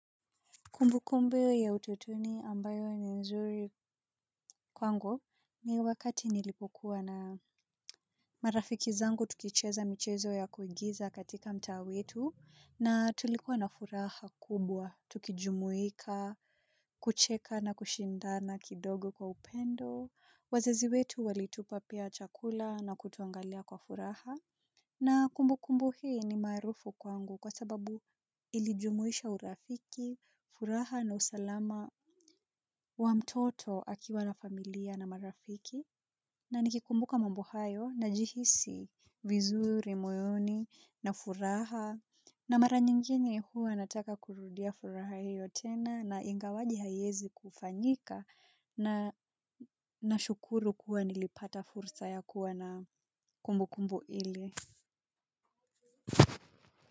Kumbu kumbu ya utotoni ambayo ni nzuri kwangu ni wakati nilipokuwa na marafiki zangu tukicheza michezo ya kuigiza katika mtaa wetu na tulikuwa na furaha kubwa, tukijumuika, kucheka na kushindana kidogo kwa upendo, wazazi wetu walitupa pia chakula na kutuangalia kwa furaha. Na kumbu kumbu hii ni maarufu kwangu kwa sababu ilijumuisha urafiki, furaha na usalama wa mtoto akiwa na familia na marafiki na nikikumbuka mambo hayo najihisi vizuri, moyoni na furaha na mara nyingine hua nataka kurudia furaha hito tena na ingawaje haiwezi kufanyika na nashukuru kuwa nilipata fursa ya kuwa na kumbu kumbu ile.